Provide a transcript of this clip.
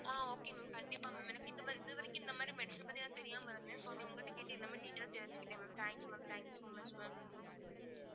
அஹ் okay mam கண்டிப்பா mam எனக்கு இது இது வரைக்கும் இந்த மாதிரிதான் medicine பத்தி தெரியாம இருந்தேன் so நீ~ உங்கள்ட்ட கேட்டு எல்லாமே detail ஆ தெரிஞ்சுக்கிட்டேன் mam thank you mam thank you so much mam